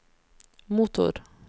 motor